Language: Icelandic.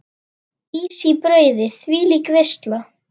Ís í brauði, þvílík veisla.